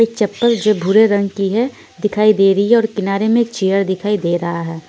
एक चप्पल जो भूरे रंग कि है दिखाई दे रही है और किनारे में एक चेयर दिखाई दे रहा है।